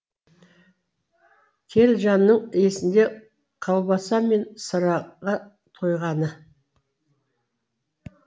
телжанның есінде колбаса мен сыраға тойғаны